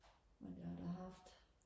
men jeg har da haft